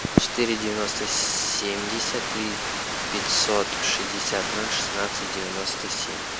четыре девяносто семьдесят три пятьсот шестьдесят ноль шестнадцать девяносто семь